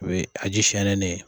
O ye a ji sɛnɛnen ye.